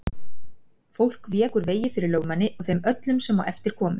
Fólk vék úr vegi fyrir lögmanni og þeim öllum sem á eftir komu.